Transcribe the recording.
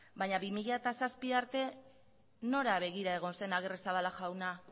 baina bi mila zazpi arte nora begira egon zen agirrezabala jauna